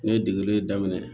Ne ye degeli daminɛ